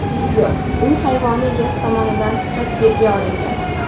Video uy hayvoni egasi tomonidan tasvirga olingan.